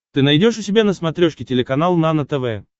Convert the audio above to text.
ты найдешь у себя на смотрешке телеканал нано тв